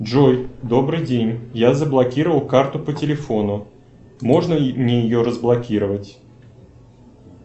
джой добрый день я заблокировал карту по телефону можно мне ее разблокировать